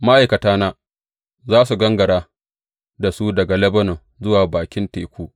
Ma’aikatana za su gangara da su daga Lebanon zuwa bakin teku.